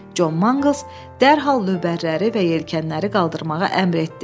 John Mangles dərhal lövbərləri və yelkənləri qaldırmağa əmr etdi.